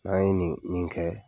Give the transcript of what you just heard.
An ye nin nin kɛ